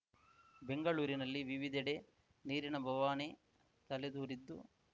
ಬೆಂಗಳೂರಿನಲ್ಲಿ ವಿವಿಧೆಡೆ ನೀರಿನ ಬವಣೆ ತಲೆದೋರಿದ್ದು